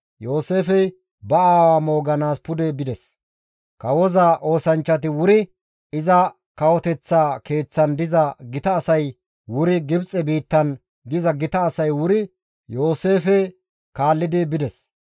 Yooseefey ba aawa mooganaas pude bides. Kawoza oosanchchati wuri, iza kawoteththa keeththan diza gita asay wuri Gibxe biittan diza gita asay wuri Yooseefe kaallidi bides.